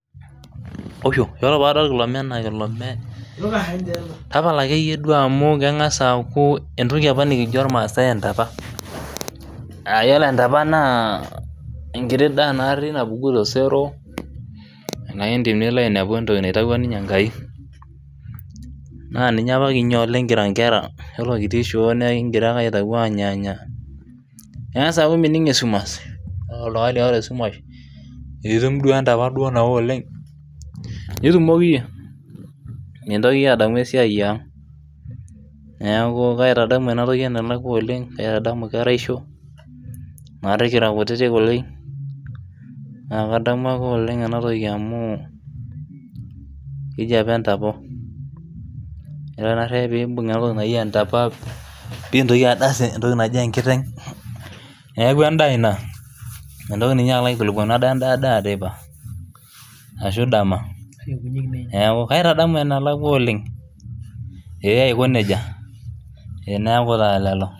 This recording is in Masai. usho ore pee adol ena naa entoki apa najo imaasai entapa ore entapa naa entoki apa nikinya kitii intare nabulu too intimi, ore ake pee enya neng'as aaku mining' esumash, ore oltung'ani oota esumash pee etum entapa nao oleng' nitumoki iyie mitoki iyie adamu esiai yang', ore naari tinitum enatoki nintoki adas enkiteng' neeku edaa ina mintoki ninye alo adamu edaa teipa neeku kaitadamu oleng'.